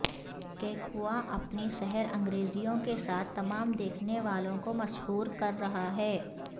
کیکووا اپنی سحر انگیزیوں کے ساتھ تمام دیکھنے والوں کو مسحور کر رہا ہے